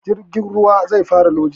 Jirgin ruwan anjima zai fara lodi